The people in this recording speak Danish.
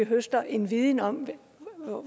høstet en viden om